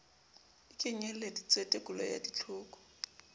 e kenyeleditse tekolo ya ditlhoko